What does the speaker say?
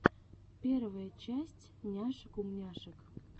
первая часть няшек умняшек